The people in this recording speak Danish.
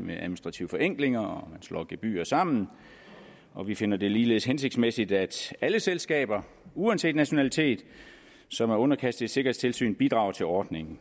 med administrative forenklinger og at man slår gebyrer sammen og vi finder det ligeledes hensigtsmæssigt at alle selskaber uanset nationalitet som er underkastet et sikkerhedstilsyn bidrager til ordningen